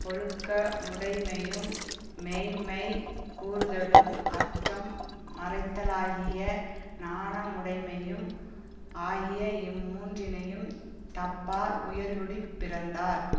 ஒழுக்க முடைமையும் மெய்ம்மை கூறுதலும் அற்றம் மறைத்தலாகிய நாணமுடைமையும் ஆகிய இம்மூன்றினையும் தப்பார் உயர்குடிப்பிறந்தார்